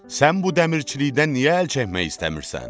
Sən bu dəmirçilikdən niyə əl çəkmək istəmirsən?